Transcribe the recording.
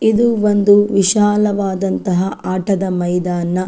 ಇಲ್ಲಿ ಆ ಕಡಿಮೆ ಬೆಲೆಯಲ್ಲಿ ಸಿಗುತ್ತವೆ.